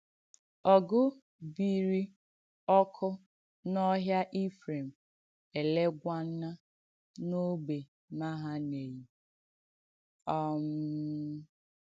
Ọ̀gụ̀ bìirì ọ́kụ́ n’ọ́hịa Ifrèm̀, èléég̀wánà n’ọ́gbè Mahaneim. um